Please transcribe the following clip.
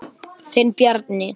Þinn Bjarni.